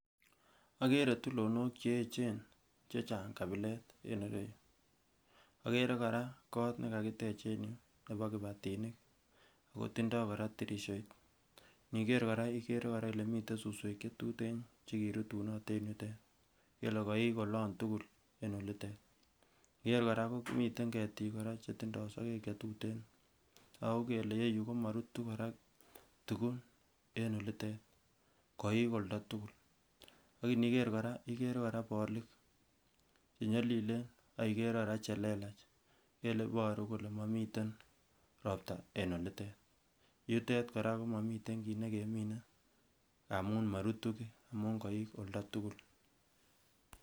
Akere tulonok cheechen chechang kabilet en ireyu, akere kora kot nekakitech en yu nepo kibatinik akotindo kora tirisiot iniker kora ikere ile miten suswek chetuten chekirutunot en yutet ikere ile koik olon tugul en olitet, iniker kora komiten ketik kora chetindoo sokek chetuten akokelee ireyu komorutu tugun en olitet koik oltatugul ak iniker kora iker bolik chenyolilen ak ikerer kora chelelach ingele iboru kole momiten ropta en olitet yutet kora komomiten kit nekemine ngamu morutu kii amun koik oltatugul.